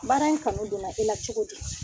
Baara in kanu donna e la cogo di ?